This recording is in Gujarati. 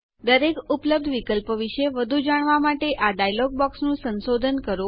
દરેક ઉપલબ્ધ વિકલ્પો વિશે વધુ જાણવા માટે આ ડાયલોગ બોક્સનું સંશોધન કરો